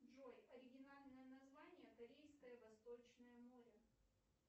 джой оригинальное название корейское восточное море